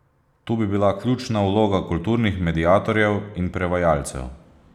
Tu bi bila ključna vloga kulturnih mediatorjev in prevajalcev.